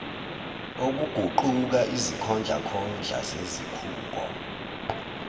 okuguquka izikhondlakhondla zezikhungo